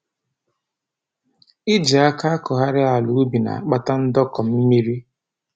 Iji aka akọgharị ala ubi na-akpata ndọkọ mmiri